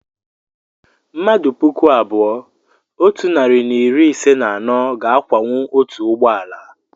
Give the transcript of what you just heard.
mmmadụ puku abụọ otu narị na iri ise na anọ ga-akwawu otu ụgbọ ala